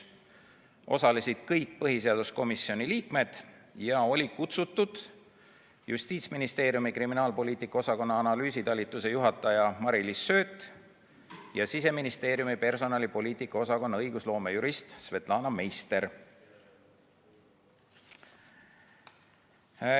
Osalesid kõik põhiseaduskomisjoni liikmed ja olid kutsutud Justiitsministeeriumi kriminaalpoliitika osakonna analüüsitalituse juhataja Mari-Liis Sööt ja Siseministeeriumi personalipoliitika osakonna õigusnõunik Svetlana Meister.